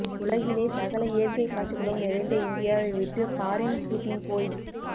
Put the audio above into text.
உலகிலே சகல இயற்கை காட்சிகளும் நிறைந்த இந்தியாவை விட்டு பாரின் சூட்டிங் போய்